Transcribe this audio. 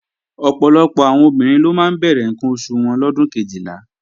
Ọ̀pọ̀lọpọ̀ àwọn ọmọbìnrin ló máa ń bẹ̀rẹ̀ ǹkan oṣù wọn lọ́dún Kejìlá